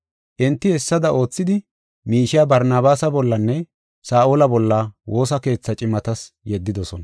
Enti hessada oothidi, miishiya Barnabaasa bollanne Saa7ola bolla woosa keethaa cimatas yeddidosona.